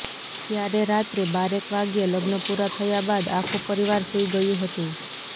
ત્યારે રાત્રે બારેક વાગ્યે લગ્ન પુરા થયા બાદ આખુ પરિવાર સુઇ ગયુ હતું